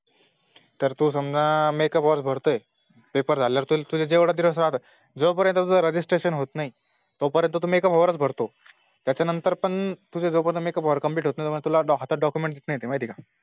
तर तो समजाह Make up hours भरतोय Paper झाल्यावर तुझे जेवढे दिवस राहता जो पर्यां तुझं Registration होत नाही तो पर्यंत तू Make up hour भरतो त्याच्या नंतर पण तुझे Make up hour complete होत नाही तो पर्यंत तुला हातात ते Document देत नाही ते माहिती आहे का